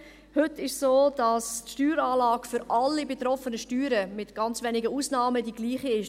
Heute ist es so, dass die Steueranlage für sämtliche betroffenen Steuern, mit ganz wenigen Ausnahmen, die gleiche ist.